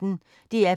DR P1